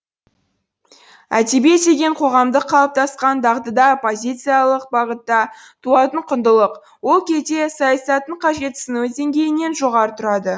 әдебиет деген қоғамдық қалыптасқан дағдыда оппозициялық бағытта туатын құндылық ол кезде саясаттың қажетсінуі деңгейінен жоғары тұрады